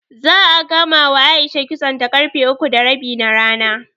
Za'a gamawa A'isha kitsonta ƙarfe uku da rabi na rana.